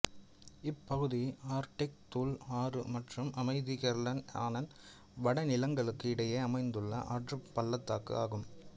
இப்பகுதி ஆர்க்டிக் தூல் ஆறு மற்றும் அமைதி கெர்லென் ஆனன் வடிநிலங்களுக்கு இடையே அமைந்துள்ள ஆற்றுப் பள்ளத்தாக்கு ஆகும்